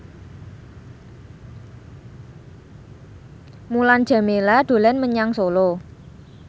Mulan Jameela dolan menyang Solo